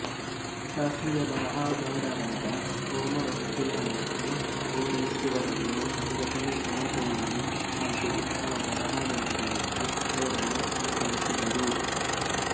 ಶಾಸ್ತ್ರೀಯ ಬರಹಗಾರರಾದ ಹೊಮರ್ ವರ್ಜಿಲ್ಮತ್ತು ಹೊರೇಸ್ ಇವರನ್ನು ಸಂಘಟನೆಸಮತೋಲನೆ ಹಾಗೂ ಉತ್ತಮ ಬರಹವೆಂದು ಭಾವಿಸಿ ಅವರನ್ನು ಅನುಕರಿಸಿದರು